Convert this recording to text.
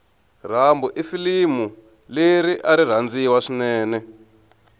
rambo ifulimuleriari rhandziwa swinene